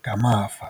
ngamava.